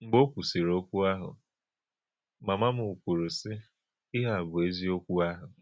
Mḡbè ọ̀ kwùsìrì̀ ọ̀kwú̄ áhụ̄, māmā́ m kwúrù, sị, “Ìhè̄ à bụ̀ èzíọ̀kwú̄ áhụ̄!”